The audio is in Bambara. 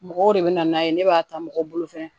Mɔgɔw de bɛ na n'a ye ne b'a ta mɔgɔw bolo fɛ